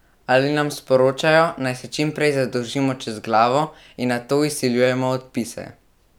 Ali nam sporočajo, naj se čim prej zadolžimo čez glavo in nato izsiljujemo odpise?